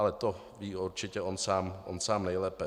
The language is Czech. Ale to ví určitě on sám nejlépe.